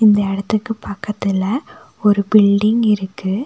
இந்த எடத்துக்கு பக்கத்துல ஒரு பில்டிங் இருக்கு.